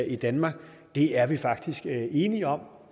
i danmark er vi faktisk enige om